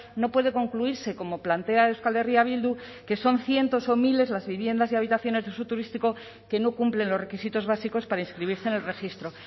no puede concluirse como plantea euskal herria bildu que son cientos o miles las viviendas y habitaciones de uso turístico que no cumplen los requisitos básicos para inscribirse en el registro